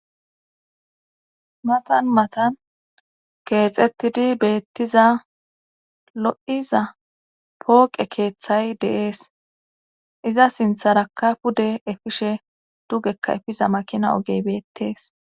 matan matan keexettidi beettiza lo'iza pooqe keeththay deees. iza sintharaka pude efishe dugekka efiza makina ogey beettees.